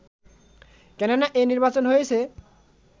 কেননা এ নির্বাচন হয়েছে